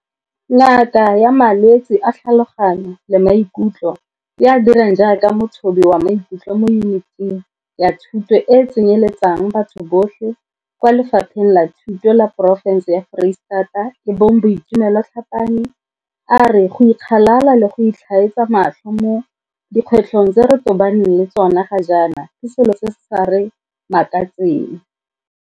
Ngaka ya malwetse a tlhaloganyo le maikutlo yo a dirang jaaka mothobi wa maikutlo mo Yuniting ya Thuto e e Tsenyeletsang Batho Botlhe kwa Lefapheng la Thuto la porofense ya Foreistata e bong Boitumelo Tlhapane, a re go ikgalala le go itlhaetsa matlho mo dikgwetlhong tse re tobaneng le tsona ga jaana ke selo se se sa re makatseng.